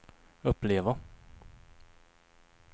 uppleva